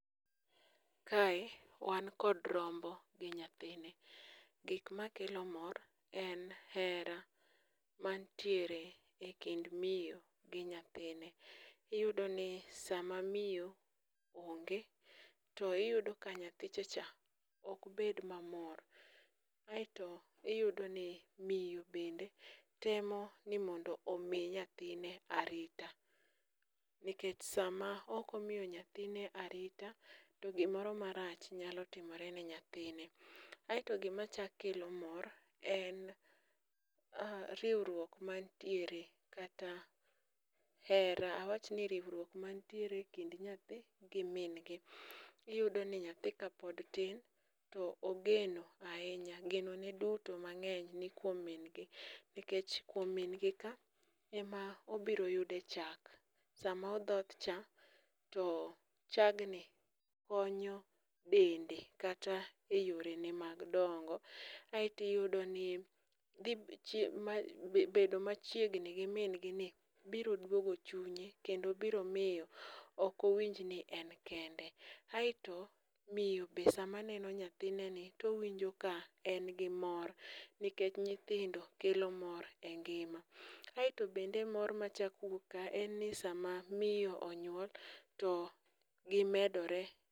kae wan kod rombo gi nyathine. Gik makelo mor, en hera mantiere e kind miyo gi nyathine. Iyudo ni sama miyo onge to iyudo ka nyathicha cha okbed mamor, eto iyudo ni miyo bende temo ni mondo omi nyathine arita, nikech sama ok omiyo nyathine arita to iyudo ni gimoro to gimoro marach nyalo timore ne nyathine. Aeto gima chako kelo mor, en riwruok mantiere kata hera, awach ni riwruok man e kind nyathi gi min, iyudo ni nyathi kapod tin to, ogeno ahinya geno ne duto ni kuom min gi nikech kuom min gi ka ema obiro yudo e chak. Sama odhoth cha, to chag ni konyo dende kata e yore ge mag dongo. Aeto iyudo ni bedo machiengni gi min gi ni biro duogo chunye kendo biro miyo ok owinj ni en kende. Aeto miyo bende sama neno nyathine to owinjo ka en gi mor, nikech nyithindo kelo mor e ngima. Aeto bende mor ma chako wuok ka, en ni sama miyo onyuol, to gimedore.